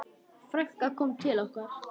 Frænkan kom til okkar.